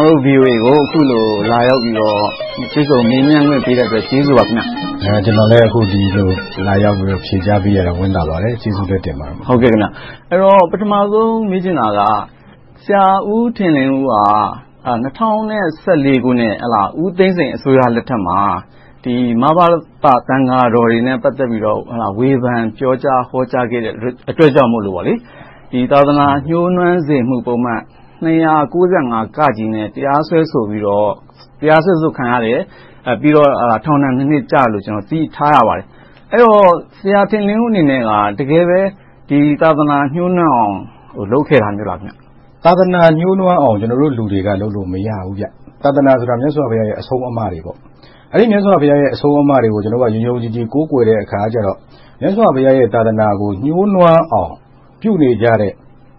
ော်တို့ VOA ကို အခုလို လာရောက်ပြီးတော့ တွေ့ဆုံမေးမြန်းခွင့် ပေးတဲ့အတွက် ကျေးဇူးပါ။ ကျနော်လည်း ဒီလို လာရောက်ပြီးတော့ ဖြေကြားပေးရတာ ဝမ်းသာပါတယ်။ ကျေးဇူးလည်းတင်ပါတယ်။ ပထမဦးဆုံး မေးချင်တာက ဆရာဦးထင်လင်းဦး က ၂၀၁၄ ခုနှစ် ဦးသိန်းစိန်အစိုးရလက်ထက်မှာ မဘသ သံဃာတော်တွေနဲ့ ပတ်သက်ပြီးတော့ ဝေဖန်ပြောကြားဟောကြားခဲ့တဲ့ အတွက်ကြောင့်မို့လို့ သာသနာညှိုးနွမ်းစေမှုပုဒ်မ ၂၉၅ နဲ့ တရားစွဲဆိုခံရတယ်။ ပြီးတော့ ထောင်ဒဏ် နှစ် ကျခံရတယ်လို့ သိထားရပါတယ်။ အဲဒီတော့ ဆရာအနေနဲ့ တကယ်ပဲ သာသနာညှိုးနွမ်းအောင် လုပ်ခဲ့တာမျိုးလား။ သာသနာညှိုးနွမ်းအောင် ကျနော်တို့ လူတွေက လုပ်လို့မရဘူး။ သာသနာဆိုတာ မြတ်စွာဘုရားရဲ့ အဆုံးအမတွေ။ မြတ်စွာဘုရားရဲ့ အဆုံးအမတွေကို ကျနော်တို့က ယုံယုံကြည်ကြည် ကိုးကွယ်တဲ့အခါကြတော့ မြတ်စွာဘုရားရဲ့ သာသနာကို ညှိုနွမ်းအောင် ပြုနေကြတဲ့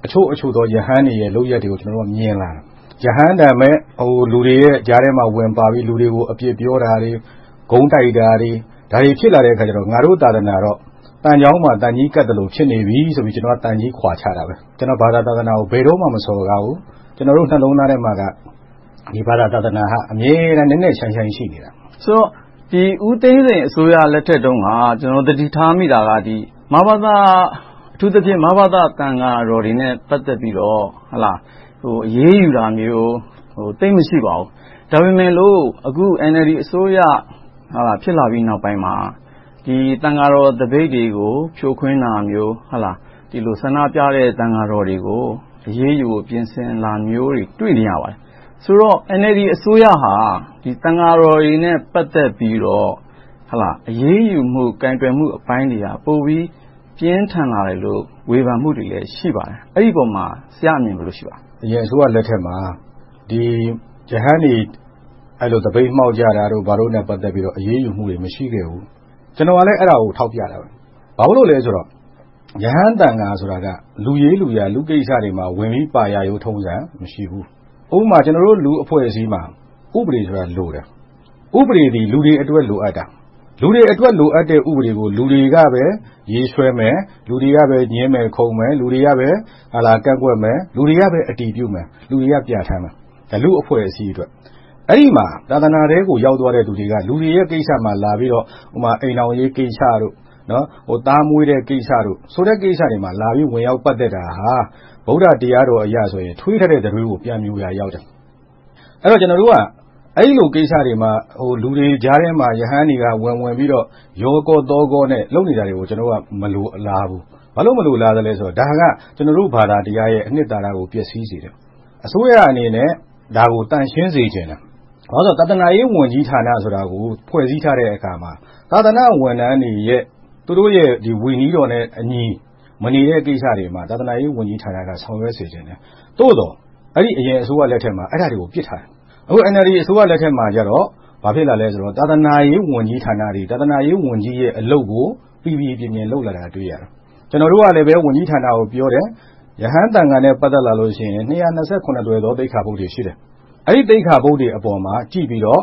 အချို့အချို့သော ရဟန်းတွေရဲ့ လုပ်ရပ်တွေကို မြင်လာတယ်။ ရဟန်းတန်မဲ့ လူတွေရဲ့ကြားထဲမှာ ဝင်ပါပြီးတော့ လူတွေကို အပြစ်ပြောတာတွေ၊ ဂုန်းတိုက်တာတွေ၊ ဒါတွေဖြစ်လာတဲ့အခါကြတော့ ငါတို့ သာသနာတော့ သံချောင်းမှာ သံချေးကပ်သလို ဖြစ်နေပြီဆိုပြီး ကျနော်က သံချေးခွါချတာပါ။ ကျနော် ဘာသာ၊ သာသနာကို ဘယ်တော့မှ မစော်ကားဘူး။ ကျနော်တို့ နှလုံးသားထဲမှာက ဒီဘာသာ၊ သာသနာက အမြဲတမ်း နက်နက်ရှိုင်းရှိုင်း ရှိနေပါတယ်။ ဆိုတော့ ဦးသိန်းစိန်အစိုးရလက်ထကတုန်းက ကျနော်တို့ သတိထားမိတာက အထူးသဖြင့် မဘသ သံဃာတော်တွေနဲ့ ပတ်သက်ပြီးတော့ အရေးယူတာမျိုး သိပ်မရှိပါဘူး။ ဒါပေမဲ့လို့ အခု NLD အစိုးရ ဖြစ်လာပြီးနောက်ပိုင်းမှာ သံဃာတော်သပိတ်တွေကို ဖြိုခွဲတာမျိုး။ ဆန္ဒပြတဲ့ သံဃာတော်တွေကို အရေးယူဖို့ ပြင်ဆင်တာမျိုးတွေကို တွေ့နေရပါတယ်။ ဆိုတော့ NLD အစိုးရဟာ သံဃာတော်တွေနဲ့ ပတ်သက်ပြီးတော့ အရေးယူမှု၊ ကိုင်တွယ်မှုအပိုင်းတွေက ပိုပြီးပြင်းထန်လာတယ်လို့ ဝေဖန်မှုတွေလည်း ရှိပါတယ်။ အဲဒီအပေါ်မှာ ဆရာ့အမြင် ဘယ်လိုရှိပါလဲ။ အရင် အစိုးရလက်ထက်မှာ ရဟန်းတွေ အဲဒီလို သပိတ်မှောက်ကြတာတွေနဲ့ ပတ်သက်လို့ အရေးယူမှုတွေ မရှိခဲ့ဘူး။ ကျနော်ကလည်း အဲဒါကို ထောက်ပြတာ… ဘာဖြစ်လို့လဲဆိုတော့ ရဟန်းသံဃာဆိုတာက လူရေးလူရာ လူ့ကိစ္စတွေမှာ ဝင်ပါတာမျိုး မရှိဘူး။ ဥပမာ ကျနော်တို့ လူ့အဖွဲ့အစည်းမှာ ဥပဒေဆိုတာလိုတယ်။ ဥပဒေသည် လူတွေအတွက် လိုအပ်တာ။ လူတွေအတွက် လိုအပ်တဲ့ဥပဒေကို လူတွေကပဲ ရေးဆွဲမယ်။ လူတွေကပဲ ငြင်းမယ်ခုန်မယ်။ လူတွေကပဲ ကန့်ကွက်မယ်။ လူတွေကပဲ အတည်ပြုမယ်။ လူတွေက ပြဌာန်းမယ်။ လူ့အဖွဲ့အစည်းအတွက်။ အဲဒီမှာ သာသနာထဲကို ရောက်သွားတဲ့လူတွေက လူတွေကိစ္စမှာ လာပြီးတော့ အိမ်ထောင်ရေးကိစ္စ၊ သားမွေးတဲ့ကိစ္စတို့ဆိုတဲ့ ကိစ္စတွေမှာ လာပြီးတော့ ပတ်သက်တာဟာ ဗုဒ္ဓတရားတော်အရဆိုရင် ထွေးထားတဲ့ တံတွေးကို ပြန်မြိုရာရောက်တယ်။ အဲဒီတော့ ကျနော်တို့က အဲဒီလိုကိစ္စတွေမှာ လူတွေကြားထဲမှာ ရဟန်းတွေက ဝင်ဝင်ပါပြီးတော့ ရောကောသောကော လုပ်နေတာတွေကို ကျနော်တို့က မလိုလားဘူး။ ဘာဖြစ်လို့ မလိုလားလဲဆိုတော့ ဒါက ကျနော်တို့ဘာသာတရားရဲ့ အနှစ်သာရကို ပျက်ဆီးစေတယ်။ အစိုးရအနေနဲ့ ဒါကို သန့်ရှင်းစေချင်တယ်။ ဘာဖြစ်လို့လဲဆိုတော့ သာသနာရေးဝန်ကြီးဌာနဆိုပြီး ဖွဲ့စည်းထားတဲ့အခါမှာ သာသနာဝန်ထမ်းတွေရဲ့ ဝိနည်းတော်နဲ့အညီ မနေတဲ့ကိစ္စတွေမှာ သာသနာရေးဝန်ကြီးဌာနက ဆောင်ရွက်စေချင်တယ်။ သို့သော် အရင်အစိုးရလက်ထက်မှာ အဲဒါတွေကို ပစ်ထားတယ်။ အခု NLD အစိုးရလက်ထက်မှာကြတော့ ဘာဖြစ်လာလဲဆိုတော့ သာသနာရေးဝန်ကြီးဌာနတွေ၊ သာသနာရေးဝန်ကြီးရဲ့ အလုပ်ကို ပီပီပြင်ပြင် လုပ်လာတာကို တွေ့ရတယ်။ ကျနော်တို့ကလည်း ဝန်ကြီးဌာနကို ပြောတယ်။ ရဟန်းသံဃာနဲ့ ပတ်သက်လာလို့ရှိရင် သွယ်သော သိက္ခာပုဒ်တွေ ရှိတယ်။ အဲဒီသိက္ခာပုဒ်တွေအပေါ်ကို ကြည့်ပြီးတော့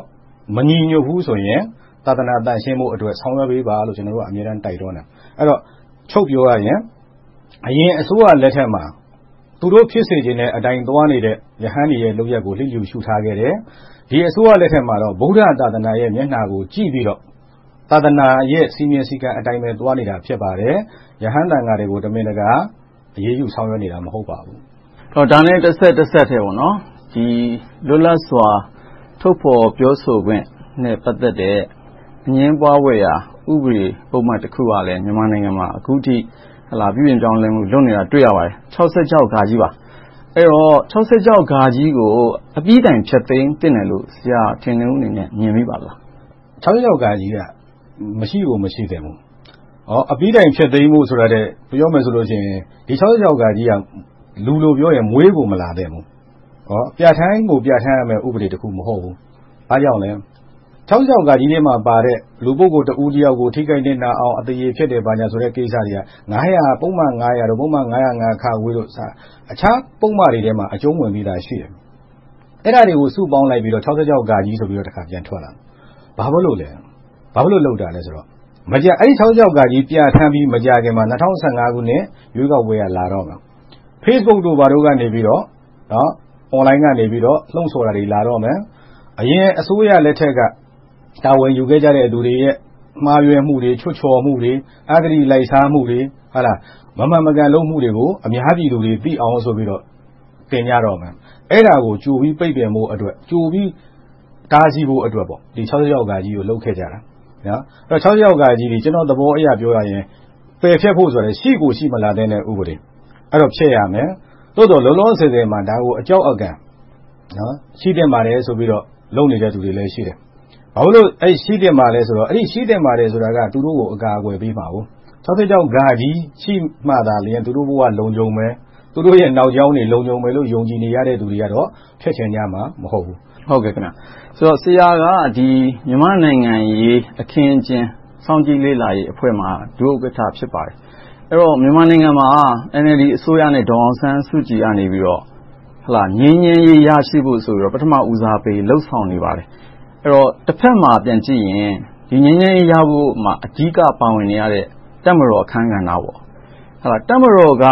မညီညွှတ်ဘူးဆိုရင် သာသနာသန့်ရှင်းဖို့ ဆောင်ရွက်ပေးပါလို့ ကျနော်တို့က အမြဲတမ်း တိုက်တွန်းတယ်။ ချုပ်ပြောရရင် အရင်အစိုးရလက်ထက်မှာ သူတို့ဖြစ်စေချင်တဲ့အတိုင်း သွားနေတဲ့ ရဟန်းတွေရဲ့ လုပ်ရပ်ကို လစ်လျူရှုထားခဲ့တယ်။ ဒီအစိုးရလက်ထက်မှာတော့ ဗုဒ္ဓသာသနာရဲ့ မျက်နှာကို ကြည့်ပြီးတော့ သာသနာရဲ့ စည်းမျဉ်းစည်းကမ်းအတိုင်းပဲ သွားနေတာ ဖြစ်ပါတယ်။ ရဟန်းသံဃာတော်တွေကို တမင်တကာ အရေးယူဆောင်ရွက်နေတာ မဟုတ်ပါဘူး။ ဒါနဲ့ တဆက်ထဲ လွတ်လပ်စွာ ထုတ်ဖော်ပြောဆိုခွင့်နဲ့ ပတ်သက်တဲ့ အငြင်းပွားဖွယ်ရာ ဥပဒေပုဒ်မတခုကလဲ မြန်မာနိုင်ငံမှာ အခုထိ ပြုပြင်ပြောင်းလဲမှု လုပ်နေတာ တွေ့ရပါတယ်။ ပါ။ အဲဒီတော့ ကို အပြီတိုင် ဖျက်သိမ်းသင့်တယ်လို့ ဆရာထင်လင်းဦးအနေနဲ့ မြင်မိပါသလား။ က မရှိကို မရှိသင့်ဘူး။ အပြီတိုင်ဖျက်သိမ်းဖို့ ဆိုတာထက် ပြောမယ်ဆိုလို့ရှိရင် ဒီ က လူလိုပြောရင် မွေးကိုမလာသင့်ဘူး။ ပြဌာန်းကို ပြဌာန်းရမယ့် ဥပဒေတခု မဟုတ်ဘူး။ ဘာကြောင့်လဲ ထဲမှာပါတဲ့ လူ ပုဂ္ဂိုလ်တဦးတယောက်ကို ထိခိုက်နစ်နာအောင် အသရည်ဖျက်တယ် ဘာညာဆိုတဲ့ ကိစ္စတွေက ပုဒ်မ ၊ ပုဒ်မ တို့က အခြားပုဒ်မတွေထဲမှာ အကြုံဝင်ပြီသာရှိတယ်။ အဲဒါတွေကို စုပေါင်းလိုက်ပြီးတော့ ဆိုပြီး ပြန်ထွက်လာတယ်။ ဘာဖြစ်လို့ လုပ်တာလဲဆိုတော့ အဲဒီ ပြဌာန်းပြီး မကြာခင်မှာ ၂၀၁၅ ခုနှစ် ရွေးကောက်ပွဲက လာတော့မယ်။ Facebook တို့ ဘာတို့ကနေ၊ Online ကနေ လှုံဆော်တာတွေ လာတော့မယ်။ အရင်အစိုးရလက်ထက်က တာဝန်ယူခဲ့ကြတဲ့ လူတွေရဲ့ မှားယွင်းမှုတွေ၊ ချွတ်ချော်မှုတွေ၊ အဂတိလိုက်စားမှုတွေ၊ မမှန်မကန် လုပ်မှုတွေကို အများပြည်သူတွေ သိအောင်ဆိုပြီးတော့ တင်ကြတော့မယ်။ အဲဒါကို ကြိုပြီးပိတ်ပင်ဖို့အတွက်၊ ကြိုပြီးတားဆီးဖို့အတွက် ကို လုပ်ခဲ့ကြတာ။ က ကျနော့်သဘောအရ ပြောရင် ပယ်ဖျက်ဖို့ထက် ရှိကိုမရှိလာသင့်တဲ့ ဥပဒေ။ အဲဒီတော့ ဖျက်ရမယ်။ သို့သော် လောလောဆယ်မှာ ဒါကို အကြောက်အကန် ရှိသင့်ပါတယ်ဆိုပြီး လုပ်နေသူတွေလည်း ရှိတယ်။ ဘာဖြစ်လို့ ရှိသင့်ပါလဲဆိုတော့ အဲဒီ ရှိသင့်ပါတယ်ဆိုတာက သူတို့ကို အကာအကွယ်ပေးမှာ။ ရှိမှသာလျှင် သူတို့ဘဝ လုံခြုံမယ်။ သူတို့ရဲ့ နောက်ကြောင်းတွေ လုံခြုံမယ်လို့ ယုံကြည်နေသူတွေကတော့ ဖျက်ချင်ကြမှာ မဟုတ်ဘူး။ ဆိုတော့ ဆရာက မြန်မာ့နိုင်ငံရေး အခင်းအကျင်း စောင့်ကြည့်လေ့လာရေးအဖွဲ့မှာ ဒုဥက္ကဋ္ဌ ဖြစ်ပါတယ်။ အဲဒီတော့ မြန်မာနိုင်ငံမှာ NLD အစိုးရနဲ့ ဒေါ်အောင်ဆန်းစုကြည်တို့က ငြိမ်းချမ်းရေး ရရှိဖို့ဆိုပြီးတော့ ပထမဦးစားပေး လုပ်ဆောင်နေပါတယ်။ အဲဒီတော့ တဘက်မှာ ပြန်ကြည့်ရင် ဒီငြိမ်းချမ်းရေးရဖို့မှာ အဓိကပါဝင်နေရတဲ့ တပ်မတော်အခန်းကဏ္ဍတွေ။ တပ်မတော်က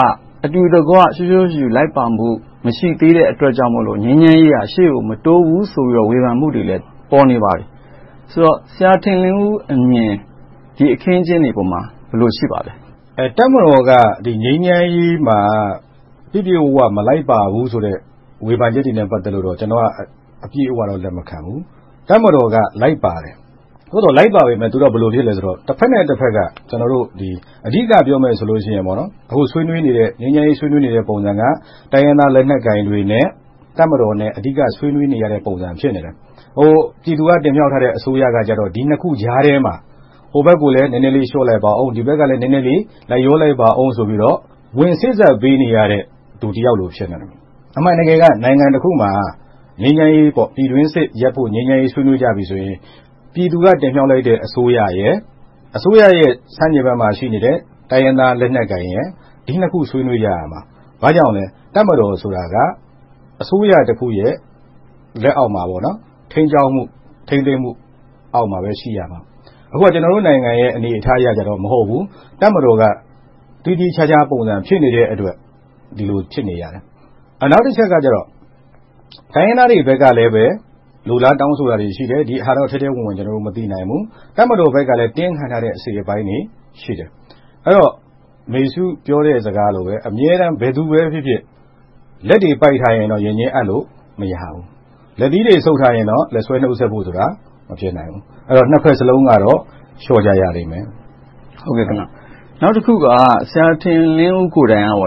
အတူတကွ ရှောရှောရှုရှု လိုက်ပါဖို့ မရှိသေးတဲ့ အတွက်ကြောင့်မို့ ငြိမ်းချမ်းရေးက ရှေ့ကို မတိုးဘူးဆိုပြီး ဝေဖန်မှုတွေ ပေါ်နေပါတယ်။ ဆရာထင်လင်းဦးအမြင် ဒီအခင်းအကျင်းတွေအပေါ်မှာ ဘယ်လို ရှိပါလဲ။ တပ်မတော်က ငြိမ်းချမ်းရေးမှာ ပြည့်ပြည့်ဝဝ မလိုက်ပါဘူးဆိုတဲ့ ဝေဖန်ချက်တွေနဲ့ ပတ်သက်လို့ ကျနော်က အပြည့်အဝတော့ လက်မခံဘူး။ တပ်မတော်က လိုက်ပါတယ်။ သို့သော် လိုက်ပါပေမယ့် သူတို့က ဘာလိုဖြစ်သလဲဆိုတော့ တဘက်နဲ့တဘက် အဓိကပြောမယ်ဆိုရင်တော့ အခု ငြိမ်းချမ်းရေး ဆွေးနွေးနေတဲ့ ပုံစံက တိုင်းရင်းသားလက်နက်ကိုင်တွေနဲ့ တပ်မတော်နဲ့ အဓိက ဆွေးနွေးနေတဲ့ပုံစံ ဖြစ်နေတယ်။ ပြည်သူက တင်မြှောက်ထားတဲ့ အစိုးရကြတော့ ဒီနှစ်ခုကြားထဲမှာ ဟိုဘက်ကိုလည်း နည်းနည်းလေး လျှော့လိုက်ပါအုံး။ ဒီဘက်ကလည်း နည်းနည်းလေး လိုက်လျောလိုက်ပါအုံးဆိုပြီး ဝင်စေ့စပ်ပေးနေရတဲ့ လူတယောက်လို့ ဖြစ်နေတယ်။ အမှန်တကယ်က နိုင်ငံတခုမှာ ငြိမ်းချမ်းရေး၊ ပြည်တွင်းစစ်ရပ်ဖို့ ဆွေးနွေးကြပြီဆိုရင် ပြည်သူက တင်မြှောက်လိုက်တဲ့ အစိုးရရယ်။ အစိုးရရယ် ဆန့်ကျင်ဘက်မှာရှိတဲ့ တိုင်းရင်းသားလက်နက်ကိုင်ရယ်။ ဒီနှစ်ခု ဆွေးနွေးကြရမှာ။ ဘာကြောင့်လဲ တပ်မတော်ဆိုတာက အစိုးရတခုရဲ့ လက်အောက်မှာ ထိန်းကျောင်းမှု၊ ထိန်းသိမ်းမှုအောက်မှာပဲ ရှိရမှာ။ အခုက ကျနော်တို့နိုင်ငံအနေအထားအရတော့ အဲဒီလို မဟုတ်ဘူး။ တပ်မတော်က သီးသီးခြားခြားပုံစံ ဖြစ်နေတဲ့အတွက် ဒီလို ဖြစ်နေရတယ်။ နောက်တချက်ကတော့ တိုင်းရင်းသားတွေဘက်ကလည်း လိုလားတောင်းဆိုတာတွေ ရှိတယ်။ ဒီဟာတွေကို ကျနော်တို့ ထဲထဲဝင်ဝင် မသိနိုင်ဘူး။ တပ်မတော်ဘက်ကလည်း တင်းခံထားတဲ့ အစိတ်အပိုင်းတွေရှိတယ်။ အဲဒီတော့ အမေစု ပြောတဲ့စကားလိုပဲ အမြဲတမ်း ဘယ်သူပဲဖြစ်ဖြစ် လက်တွေပိုက်ထားရင်တော့ ရင်ချင်းအပ်ဖို့ မရဘူး။ လက်သီးတွေ ဆုပ်ထားရင်တော့ လက်ဆွဲနှုတ်ဆက်ဖို့ဆိုတာ မဖြစ်နိုင်ဘူး။ ဆိုတော့ နှစ်ဘက်စလုံးကတော့ လျှော့ကြရလိမ့်မယ်။ နောက်တခုက ဆရာထင်လင်းဦး ကိုယ်တိုင်က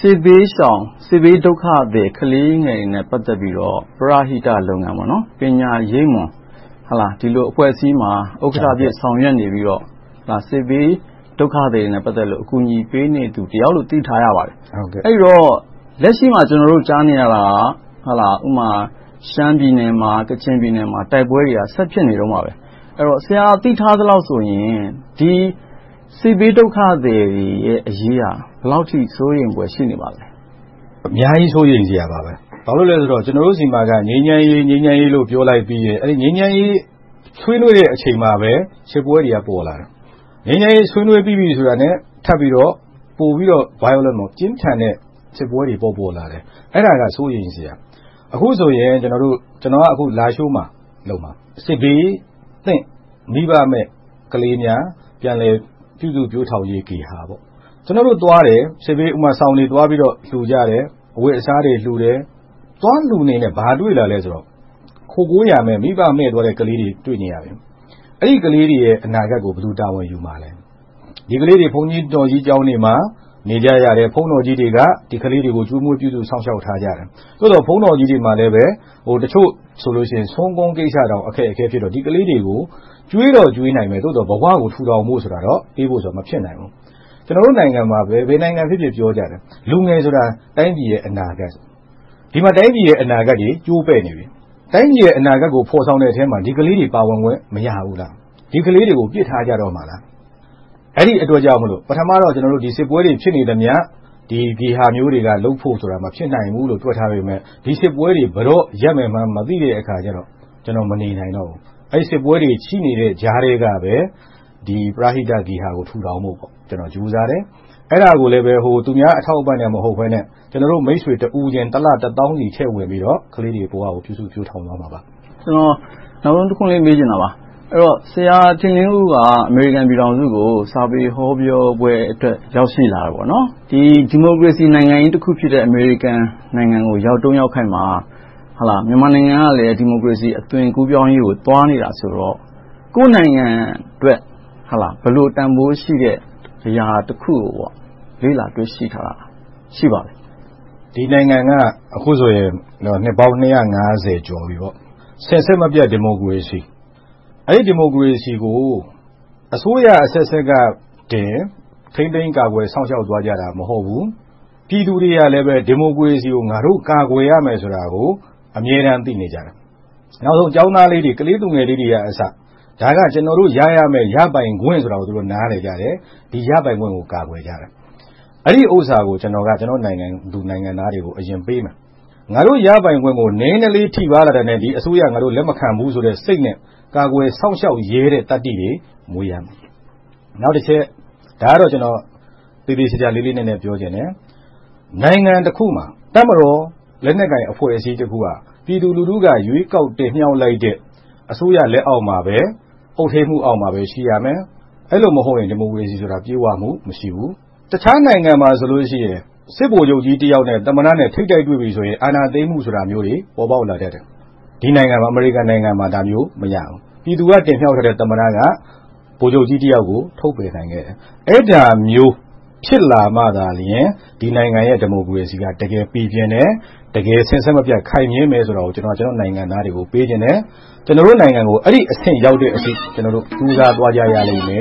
စစ်ဘေးရှောင် စစ်ဘေးဒုက္ခသည် ကလေးငယ်တွေနဲ့ ပတ်သက်ပြီးတော့ ပရဟိတလုပ်ငန်း ပညာရိပ်မွန် ဒီလိုအဖွဲ့အစည်းမှာ ဥက္ကဋ္ဌအဖြစ် ဆောင်ရွက်နေပြီးတော့ စစ်ဘေးဒုက္ခသည်တွေနဲ့ ပတ်သက်လို့ အကူအညီပေးနေသူတယောက်လို့ သိထားရပါတယ်။ အဲဒီတော့ လက်ရှိမှာ ကျနော်တို့ ကြားနေရတာက ဥပမာ ရှမ်းပြည်နယ်မှာ၊ ကချင်ပြည်နယ်မှာ တိုက်ပွဲတွေက ဆက်လက်ဖြစ်နေတုန်းပါ။ အဲဒီတော့ ဆရာ သိထားသလောက်ဆိုရင် စစ်ဘေးဒုက္ခသည်တွေရဲ့ အရေးက ဘယ်လောက်အထိ စိုးရိမ်ဖွယ် ရှိနေပါသလဲ။ အများကြီး စိုးရိမ်စရာပါ။ ဘာဖြစ်လို့လဲဆိုတော့ ကျနော်တို့ဆီမှာက ငြိမ်းချမ်းရေး… ငြိမ်းချမ်းရေးလို့ ပြောလိုက်ပြီးရင် အဲဒီ ငြိမ်းချမ်းရေး ဆွေးနွေးနေတဲ့အချိန်မှာပဲ စစ်ပွဲတွေက ပေါ်လာတယ်။ ငြိမ်းချမ်းရေး ဆွေးနွေးပြီးတာနဲ့ ထပ်ပြီး ပိုပြီးတော့ ပြင်းထန်တဲ့ စစ်ပွဲတွေ ပေါ်ပေါ်လာတယ်။ အဲဒါက စိုးရိမ်စရာ။ အခုဆိုရင် ကျနော်က လားရှိုးမှာလုပ်မယ်။ စစ်ဘေးသင့် မိဘမဲ့ ကလေးများ ပြန်လည်ပြုစုပျိုထောင်ရေးဂေဟာ။ ကျနော်တို့သွားတယ် စောင်တွေသွားပြီးတော့ လှုကြတယ်။ အဝတ်အစားတွေ လှုကြတယ်။ သွားလှုနေရင်နဲ့ ဘာသွားတွေ့လဲဆိုတော့ ခိုကိုးရာမဲ့ မိဘမဲ့ကလေးတွေကို တွေ့ရတယ်။ အဲဒီ ကလေးတွေရဲ့ အနာဂတ်ကို ဘယ်သူတာဝန်ယူမလဲ။ ဒီကလေးတွေ ဘုန်းတော်ကြီး ကျောင်းတွေမှာ နေကြရတယ်။ ဘုန်းတော်ကြီးတွေက ဒီကလေးတွေကို ကျွေးမွေးပြုစုစောင့်ရှောက်ထားကြတယ်။ သို့သော် ဘုန်းတော်ကြီးတွေမှာလဲ အချို့ဆိုရင် ဆွမ်းကွမ်းကိစ္စတောင် အခက်အခဲဖြစ်တော့ ဒီကလေးတွေကို ကျွေးတော့ကျွေးနိုင်မယ်။ သို့သော် ဘဝကို ပြန်လည်ထူထောင်ဖို့ဆိုတာတော့ မဖြစ်နိုင်ဘူး။ ကျနော်တို့နိုင်ငံမှာ ဘယ်နိုင်ငံဖြစ်ဖြစ် ပြောကြတယ်။ လူငယ်ဆိုတာ တိုင်းပြည်ရဲ့ အနာဂတ်။ ဒီမှာ တိုင်းပြည်ရဲ့ အနာဂတ်တွေ ကျိုးပဲ့နေပြီ။ တိုင်းပြည်ရဲ့ အနာဂတ်ကို ဖော်ဆောင်တဲ့ထဲမှာ ဒီကလေးတွေ ပါဝင်ခွင့် မရဘူး။ ဒီကလေးတွေကို ပစ်ထားကြတော့မလား။ အဲဒီအတွက်ကြောင့်မို့ ပထမတော့ ကျနော်တို့ စစ်ပွဲတွေ ဖြစ်နေသမျှ ဒီဂေဟာမျိုးတွေက လုပ်ဖို့ဆိုတာ မဖြစ်နိုင်ဘူးလို့ တွက်ထားပေမယ့် ဒီစစ်ပွဲတွေ ဘယ်တော့ ရပ်မယ်မှန်း မသိတဲ့အခါကြတော့ ကျနော် မနေနိုင်ဘူး။ အဲဒီစစ်ပွဲတွေ ရှိနေတဲ့ ကြားထဲကပဲ ဒီ ပရဟိတဂေဟာကို ထူထောင်ဖို့ ကြိုးစားတယ်။ အဲဒါကိုလဲ သူများအထောက်အပံ့နဲ့ မဟုတ်ဘဲနဲ့ ကျနော်တို့ မိတ်ဆွေတဦးချင်း တစ်လ တစ်သောင်းဆီထည့်ဝင်ပြီးတော့ ကလေးတွေဘဝကို ပြုစုပျိုထောင်သွားမှာပါ။ နောက်ဆုံးတစ်ခွန်းလေး မေးချင်တာပါ။ ဆရာထင်လင်းဦး က အမေရိကန်ပြည်ထောင်စုကို စာပေဟောပြောပွဲအတွက် ရောက်ရှိလာတာ။ ဒီမိုကရေစီနိုင်ငံကြီးတစ်ခုဖြစ်တဲ့ အမေရိကန်နိုင်ငံကို ရောက်တုန်းရောက်ခိုက်မှာ မြန်မာနိုင်ငံကလည်း ဒီမိုကရေစီ အသွင်ကူးပြောင်းရေးကို သွားနေတာဆိုတော့ ကိုယ့်နိုင်ငံအတွက် ဘယ်လိုတန်းဖိုးရှိတဲ့ အရာတစ်ခုကို လေ့လာတွေ့ရှိထားပါလဲ။ ရှိပါတယ်။ ဒီနိုင်ငံက အခုဆိုရင် နှစ်ပေါင်း ကျော် စဉ်ဆက်မပြတ် ဒီမိုကရေစီ - အဲဒီ ဒီမိုကရေစီကို အစိုးရအဆက်ဆက်ကတင် ထိန်းသိမ်းကာကွယ် စောင့်ရှောက်သွားကြတာ မဟုတ်ဘူး။ ပြည်သူတွေကလည်း ဒီမိုကရေစီကို ငါတို့ကာကွယ်ရမယ်ဆိုတာကို အမြဲတမ်း သိနေကြတယ်။ နောက်ဆုံး ကျောင်းသားလေးတွေ၊ ကလေးသူငယ်လေးတွေကအစ ဒါက ကျနော်တို့ ရရမယ့် ရပိုင်ခွင့်ဆိုတာကို သူတို့ နားလည်ကြတယ်။ ဒီရပိုင်ခွင့်ကို ကာကွယ်ကြတယ်။ အဲဒီဥစ္စာကို ကျနော်က ကျနော့်နိုင်ငံသူ နိုင်ငံသားတွေကို အရင်ပေးမယ်။ ငါတို့ ရပိုင်ခွင့်တွေကို နည်းနည်းလေး ထိပါးတာနဲ့ ဒီအစိုးရကို ငါတို့ လက်မခံဘူးဆိုတဲ့ စိတ်နဲ့ ကာကွယ်စောင့်ရှောက်ရဲတဲ့ သတ္တိတွေ မွေးရမယ်။ နောက်တချက် ဒါကတော့ ကျနော် သေသေချာချာ လေးလေးနက်နက် ပြောချင်တယ်။ နိုင်ငံတစ်ခုမှာ တပ်မတော် လက်နက်ကိုင်အဖွဲ့အစည်းတစ်ခုက ပြည်သူလူထုက ရွေးကောက်တင်မြှောက်လိုက်တဲ့ အစိုးရလက်အောက်မှာ၊ အုပ်ထိန်းမှုအောက်မှာပဲ ရှိရမယ်။ အဲဒီလိုမဟုတ်ရင် ဒီမိုကရေစီဆိုတာ ပြည့်ဝမှု မရှိဘူး။ တခြားနိုင်ငံမှာဆိုရင် စစ်ဗိုလ်ချုပ်ကြီးတစ်ယောက်နဲ့ သမ္မတနဲ့ ထိပ်တိုက်တွေ့ပြီဆိုရင် အာဏာသိမ်းမှုမျိုးတွေ ပေါ်ပေါက်လာတတ်တယ်။ ဒီနိုင်ငံ အမေရိကန်နိုင်ငံမှာ ဒါမျိုး မရဘူး။ ပြည်သူက တင်မြှောက်ထားတဲ့ သမ္မတက ဗိုလ်ချုပ်တစ်ယောက်ကို ထုတ်ပယ်နိုင်တယ်။ အဲဒါမျိုး ဖြစ်လာမှာသာလျှင် ဒီနိုင်ငံရဲ့ ဒီမိုကရေစီက တကယ်ပီပြင်တယ်။ တကယ်စဉ်ဆက်မပြတ် ခိုင်မြဲမယ်ဆိုတာကို ကျနော့်နိုင်ငံသားတွေကို ပြောချင်တယ်။ ကျနော်တို့နိုင်ငံကို အဲဒီအဆင့် ရောက်တဲ့အထိ ကျနော်တို့ ကြိုးစားသွားရလိမ့်မယ်